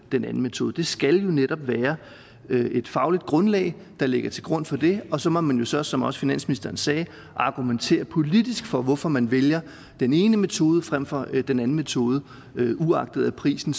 den anden metode det skal netop være et fagligt grundlag der ligger til grund for det og så må man jo så som også finansministeren sagde argumentere politisk for hvorfor man vælger den ene metode frem for den anden metode uagtet at prisen